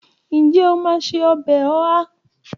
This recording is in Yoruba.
Ǹjẹ́ o máa se ọbẹ̀ Oha?